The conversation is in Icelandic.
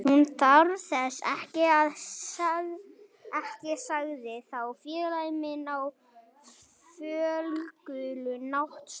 Hún þarf þessa ekki sagði þá félagi minn á fölgula náttsloppnum.